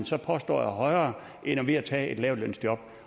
så påstår er højere end ved at tage et lavtlønsjob